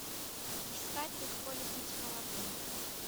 искать легко ли быть молодым